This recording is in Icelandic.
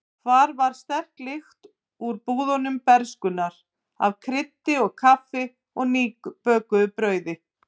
Hvar var sterk lyktin úr búðum bernskunnar af kryddi og kaffi og nýbökuðu brauði?